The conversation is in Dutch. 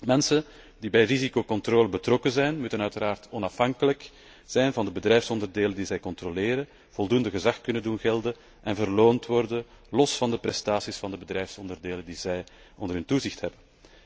Mensen die bij de risicocontrole betrokken zijn, moeten uiteraard onafhankelijk zijn van de bedrijfsonderdelen die zij controleren, voldoende gezag kunnen doen gelden en beloond worden, los van de prestaties van de bedrijfsonderdelen die zij onder hun toezicht hebben.